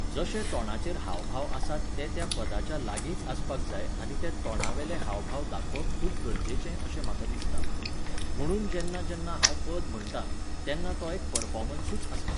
जशे तोंडाचेर हावभाव आसात ते त्या पदाच्या लागींच आसपाक जाय आनी ते तोंडावेले हावभाव दाखोवप खूब गरजेचें अशें म्हाका दिसता. म्हणून जेन्ना जेन्ना हांव पद म्हणटां, तेन्ना तो एक परफोमन्सूच आसता.